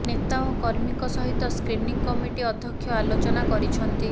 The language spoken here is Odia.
ନେତା ଓ କର୍ମୀଙ୍କ ସହିତ ସ୍କ୍ରିନିଂ କମିଟି ଅଧ୍ୟକ୍ଷ ଆଲୋଚନା କରିଛନ୍ତି